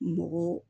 Mɔgɔ